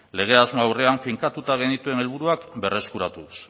lege asmo aurrean finkatuta genituen helburuak berreskuratuz